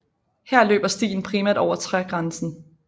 Her løber stien primært over trægrænsen